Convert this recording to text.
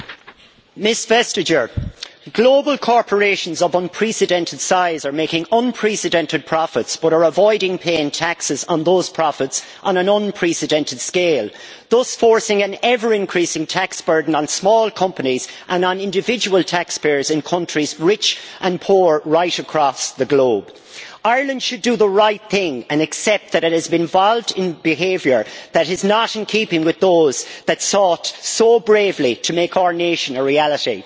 Mr President, I would like to say to Commissioner Vestager that global corporations of unprecedented size are making unprecedented profits but are avoiding paying taxes on those profits on an unprecedented scale, thus forcing an ever increasing tax burden on small companies and on individual taxpayers in countries, rich and poor, right across the globe. Ireland should do the right thing and accept that it has been involved in behaviour that is not in keeping with those that sought so bravely to make our nation a reality.